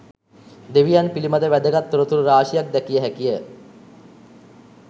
දෙවියන් පිළිබඳ වැදගත් තොරතුරු රාශියක් දැකිය හැකිය.